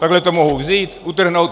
Takhle to mohu vzít, utrhnout...